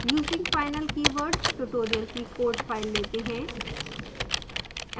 using final keyword tutorial की code files let हैं